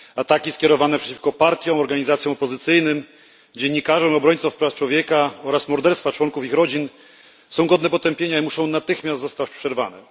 Ataki skierowane przeciwko partiom, organizacjom opozycyjnym, dziennikarzom, obrońcom praw człowieka oraz morderstwa członków ich rodzin są godne potępienia i muszą natychmiast zostać przerwane.